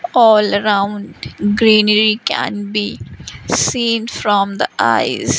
all around greenery can be seen from the eyes.